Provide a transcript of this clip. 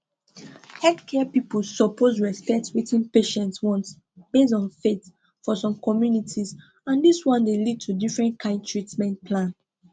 healthcare people suppose respect wetin patients want based on faith for some communities and this one dey lead to different kind treatment plan